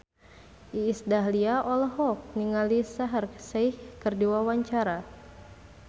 Iis Dahlia olohok ningali Shaheer Sheikh keur diwawancara